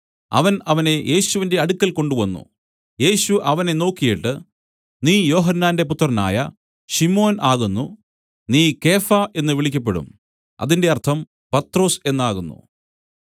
അവൻ അവനെ യേശുവിന്റെ അടുക്കൽ കൊണ്ടുവന്നു യേശു അവനെ നോക്കിയിട്ട് നീ യോഹന്നാന്റെ പുത്രനായ ശിമോൻ ആകുന്നു നീ കേഫാ എന്നു വിളിക്കപ്പെടും അതിന്റെ അർത്ഥം പത്രൊസ് എന്നാകുന്നു